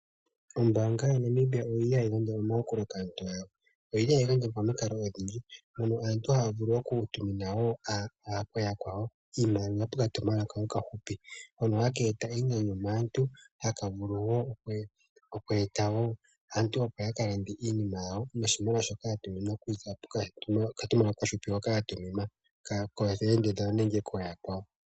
Ombaanga yaNamibia oyili hayi gandja omayakulo kaantu yago . Oyi hayi gandja momikalo odhindji mono aantu haga vulu okutumina woo aantu yakwawo iimaliwa nokatumwalaka okahupi hono haka eta enyanyu maantu haka vulu woo oku eta woo aantu opo ya kalande iinima yawo noshimaliwa shoka yatuminwa nokatumwalaka okahupi hoka ya tuminwa koofelende dhawo nenge kooyakwawo.